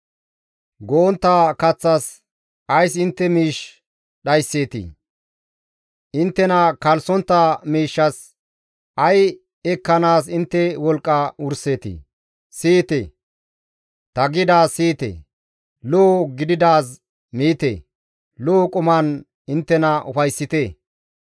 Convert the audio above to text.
Go7ontta kaththas ays intte miish dhaysseetii? inttena kalssontta miishshas ay ekkanaas intte wolqqa wurseetii? Siyite; ta gidaaz siyite; lo7o gididaaz miite; lo7o quman inttena ufayssite.